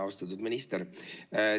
Austatud minister!